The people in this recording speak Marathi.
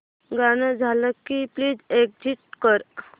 गाणं झालं की प्लीज एग्झिट कर